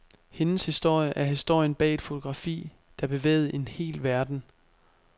Hendes historie er historien bag et fotografi, der bevægede en hel verden.